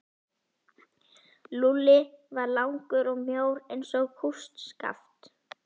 Lúlli var langur og mjór eins og kústskaft.